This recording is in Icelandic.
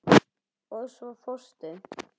Og svo fórstu.